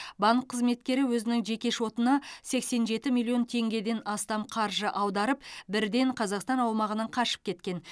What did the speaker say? банк қызметкері өзінің жеке шотына сексен жеті миллион теңгеден астам қаржы аударып бірден қазақстан аумағынан қашып кеткен